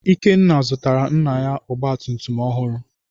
Ikenna zụtara nna ya ọgba tum tum ọhụrụ.